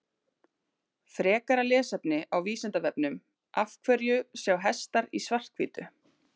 Frekara lesefni á Vísindavefnum Af hverju sjá hestar í svart-hvítu?